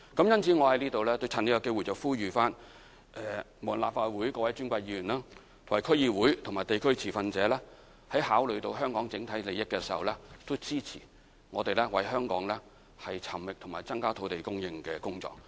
因此，我在這裏趁機會呼籲各位尊貴的立法會議員、區議員和地區持份者考慮香港整體利益，支持我們為香港尋覓和增加土地供應的工作。